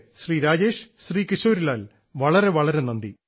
ശ്രീ രാജേഷ് ശ്രീ കിശോരി ലാൽ വളരെ വളരെ നന്ദി